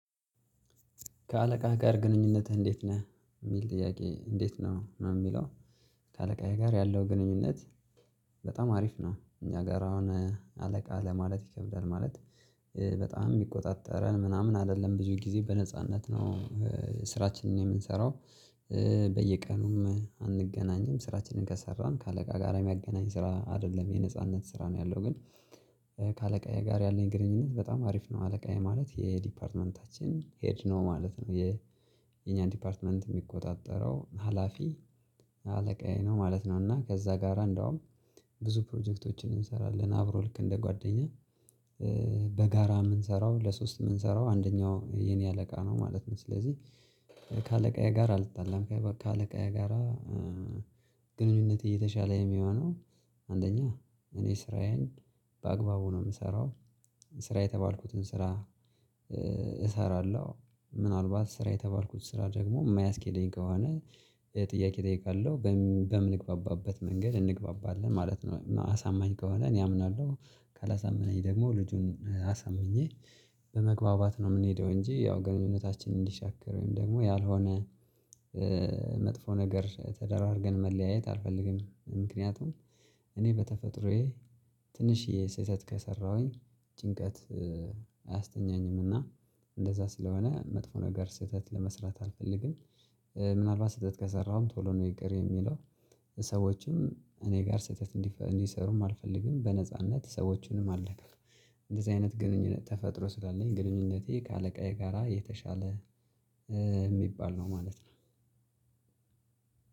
ከአለቃህ ጋር ግንኙነትህ እንዴት ነህ የሚል ጥያቄ እንዴት ነው ነው የሚለው? ከአለቃዬ ጋር ያለው ግንኙነት በጣም አሪፍ ነው። እኛ ጋራ አሁን አለቃ ለማለት ይከብዳል ማለት። በጣም የሚቆጣጠረን ምናምን አይደለም ብዙ ጊዜ በነጻነት ነው። ስራችንን የምንሰራው በየቀኑም አንገናኝም ስራችንን ከሰራን ከአለቃ ጋር የሚያገናኝ ስራ አይደለም የነጻነት ስራ ነው። ያለው ግን ከአለቃዬ ጋር ያለኝ ግንኙነት በጣም አሪፍ ነው። አለቃዬ ማለት የዲፓርትመንታችን ሄድ ነው ማለት ነው። የእኛን ዲፓርትመንት የሚቆጣጠረው ሀላፊ አለቃዬ ነው ማለት ነው። እና ከዛ ጋራ እንደውም ብዙ ፕሮጀክቶችን እንሰራለን አብሮ ልክ እንደ ጓደኛ። በጋራ የምንሰራው ለሶስት የምንሰራው አንደኛው የኔ አለቃ ነው ማለት ነው። ስለዚህ ከአለቃዬ ጋራ አልጣላም ከአለቃየ ጋራ። ግንኙነት የተሻለ የሚሆነው አንደኛ እኔ ስራዬን በአግባቡ ነው የምሰራው። ስራ የተባልኩትን ስራ እሰራለሁ። ምናልባት ስራ የተባልኩት ስራ ደግሞ የማያስኬደኝ ከሆነ። ጥያቄ እጠይቃለሁ በምንግባባበት መንገድ እንግባባለን ማለት ነው። አሳማኝ ከሆነ እኔ አምናለሁ። ካላሳመነኝ ደግሞ ልጁን አሳምኜ በመግባባት ነው የምንሄደው። እንጂ ያው ግንኙነታችን እንዲሻክር ወይም ደግሞ ያልሆነ መጥፎ ነገር ተደራርገን መለያየት አልፈልግም። ምክንያቱም እኔ በተፈጥሮዬ ትንሽዬ ስህተት ከሠራሁኝ ጭንቀት አያስተኛኝም። እና እንደዛ ስለሆነ መጥፎ ነገር ስህተት ለመስራት አልፈልግም። ምናልባት ስህተት ከሠራሁም ቶሎ ነው ይቅር የምለው። ሰዎችም እኔ ጋር ስህተት እንዲሠሩም አልፈልግም በነጻነት ሰዎችንም አልነካም። እንደዚህ አይነት ግንኙነት ተፈጥሮ ስላለኝ ግንኙነቴ ከአለቃዬ ጋራ የተሻለ የሚባል ነው ማለት ነው።